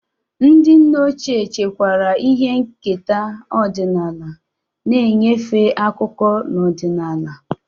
Ndị nne ochie chekwara ihe nketa ọdịnala, na-enyefe akụkọ na ọdịnala.